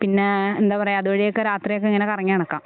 പിന്നെ എന്താ പറയാ അതുവഴിയൊക്കെ രാത്രിയൊക്കെ ഇങ്ങനെ കറങ്ങി നടക്കാം.